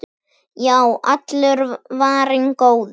Já, allur var varinn góður!